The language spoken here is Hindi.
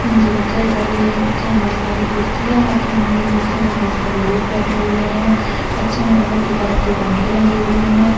मुझे कक्षा दिखाई दे रही है कक्षा में बहुत सारी कुर्सियां राखी हुई है कुर्सीवो पे बहुत सरे लोग बैठे हुए है कक्षा में ऊपर की तरफ दो पंखे लगे हुए है।